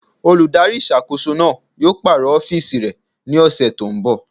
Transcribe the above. Olùdarí ìṣàkóso náà yóò pàrọ̀ ọ́fìsì rẹ̀ ní ọ̀sẹ̀ tó n bọ̀